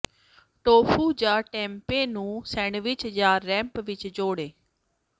tofu ਜਾਂ tempeh ਨੂੰ sandwich ਜਾਂ ਰੈਂਪ ਵਿੱਚ ਜੋੜੋ